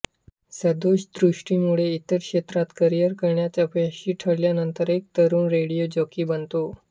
सदोष दृष्टीमुळे इतर क्षेत्रात करिअर करण्यात अपयशी ठरल्यानंतर एक तरुण रेडिओ जॉकी बनतो